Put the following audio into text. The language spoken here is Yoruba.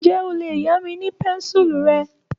Ǹjẹ́ o lè yá mi ní pẹ́ńsùlù rẹ?